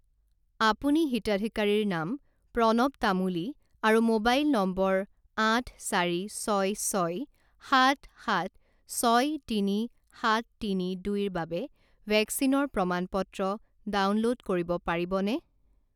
আপুনি হিতাধিকাৰীৰ নাম প্ৰণৱ তামুলী আৰু মোবাইল নম্বৰ আঠ চাৰি ছয় ছয় সাত সাত ছয় তিনি সাত তিনি দুইৰ বাবে ভেকচিনৰ প্ৰমাণ পত্ৰ ডাউনলোড কৰিব পাৰিবনে?